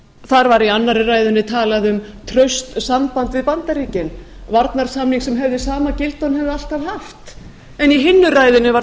þar var í annarri ræðunni talað um traust samband við bandaríkin varnarsamning sem hefði sama gildi og hann hefði alltaf haft en í hinni ræðunni var